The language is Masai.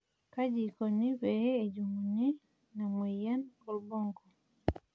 kaji ikoni pee ejung'uni ina moyian orbonko?